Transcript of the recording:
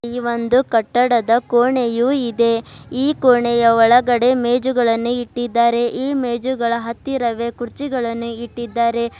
ಈ ಒಂದು ಕಟ್ಟಡದ ಕೋಣೆಯು ಇದೆ ಈ ಕೋಣೆಯ ಒಳಗಡೆ ಮೇಜುಗಳನ್ನು ಇಟ್ಟಿದ್ದಾರೆ ಈ ಮೇಜುಗಳ ಹತ್ತಿರವೇ ಕುರ್ಚಿಗಳನ್ನು ಇಟ್ಟಿದ್ದಾರೆ.